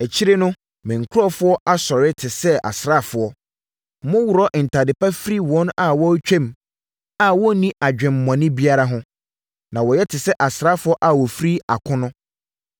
Akyire no, me nkurɔfoɔ asɔre te sɛ asraafoɔ. Moworɔ ntadeɛ pa firi wɔn a wɔretwam a wɔnni adwemmɔne biara ho, ma wɔyɛ te sɛ asraafoɔ a wɔfiri akono.